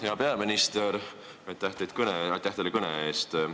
Hea peaminister, aitäh teile kõne eest!